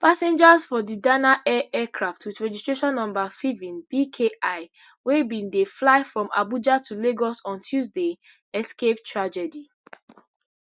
passengers for di dana air aircraft wit registration number fiven bki wey bin dey fly from abuja to lagos on tuesday escape tragedy